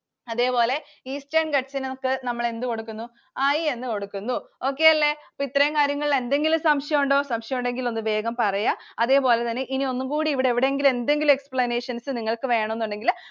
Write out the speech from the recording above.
അതേപോലെ Eastern Ghats നെ നമ്മക്ക് നമ്മൾ എന്ത് കൊടുക്കുന്നു I എന്ന് കൊടുക്കുന്നു. Okay അല്ലെ? അപ്പോൾ ഇത്രയും കാര്യങ്ങളിൽ എന്തെങ്കിലും സംശയമുണ്ടോ? സംശയം ഉണ്ടെങ്കിൽ ഒന്ന് വേഗം പറയ. അതേപോലെതന്നെ ഇനി ഒന്നുകൂടെ ഇവിടെ എവിടെങ്കിലും എന്തെങ്കിലും explanations നിങ്ങൾക്ക് വേണമെന്നുണ്ടെങ്കിൽ